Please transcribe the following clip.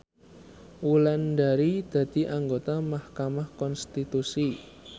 Wulandari dadi anggota mahkamah konstitusi